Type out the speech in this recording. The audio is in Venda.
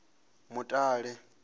mutale